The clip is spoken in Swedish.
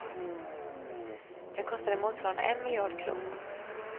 Den kostade motsvarande en miljard kronor.